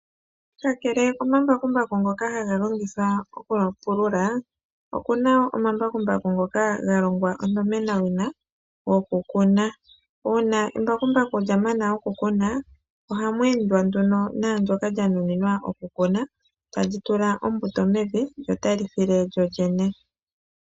Kakele komambakumbaku ngoka haga longithwa okupulula, oku na omambakumbaku ngono ga longwa onomenawina gokukuna. Uuna embakumbaku lya mana okupulula, ohamu endwa nduno naandyoka lya nuninwa oku kuna tali tula ombuto mevi lyo tali file lyolyene.